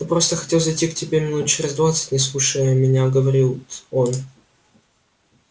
да просто хотел зайти к тебе минут через двадцать не слушая меня говорит он